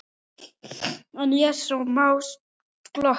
En ég sá smá glott.